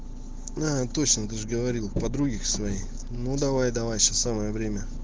а точно ты же говорил к подруге к своей ну давай давай сейчас самое время